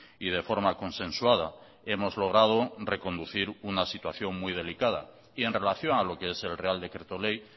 y de forma consensuada hemos logrado reconducir una situación muy delicada y en relación a lo que es el real decreto ley